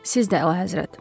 Siz də əlahəzrət.